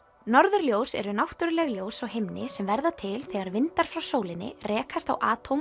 norðurljós eru náttúruleg ljós á himni sem verða til þegar vindar frá sólinni rekast á